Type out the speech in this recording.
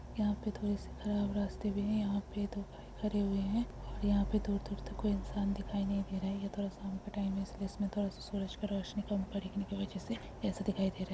यहाँ पे थोड़े से खराब रास्ते भी है | यहा पे दो बाइक भी खरे है और यह पे दूर-दूर तक कोई इंसान दिखाई नहीं दे रहा है | यह थोरा सा शाम का टाइम है इसलिए इसमे थोर सा सूरज का रोशनी काम परने के वजह से ऐसा दिखाई दे रहा है ।